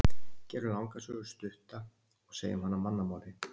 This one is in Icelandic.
Gerum langa sögu stutta og segjum hana á mannamáli.